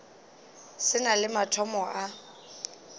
se na le mathomo a